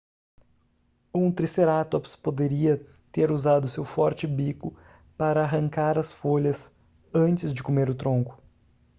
um tricerátops poderia ter usado seu forte bico para arrancar as folhas antes de comer o tronco